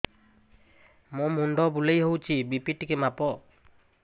ମୋ ମୁଣ୍ଡ ବୁଲେଇ ହଉଚି ବି.ପି ଟିକେ ମାପ